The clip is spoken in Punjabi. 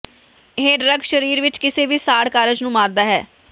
ਇਹ ਡਰੱਗ ਸਰੀਰ ਵਿੱਚ ਕਿਸੇ ਵੀ ਸਾੜ ਕਾਰਜ ਨੂੰ ਮਾਰਦਾ ਹੈ